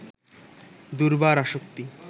দুর্বার আসক্তি